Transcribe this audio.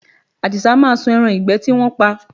Àdìsá máa sun ẹran ìgbẹ́ tí wọ́n pa